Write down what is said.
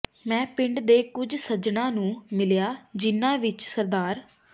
ਮੈਂ ਪਿੰਡ ਦੇ ਕੁਝ ਸੱਜਣਾਂ ਨੂੰ ਮਿਲਿਆ ਜਿਨ੍ਹਾਂ ਵਿਚ ਸ